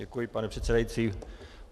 Děkuji, pane předsedající.